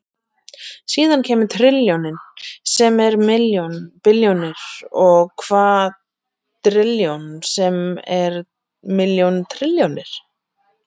Síðan kemur trilljónin sem er milljón billjónir og kvadrilljón sem er milljón trilljónir.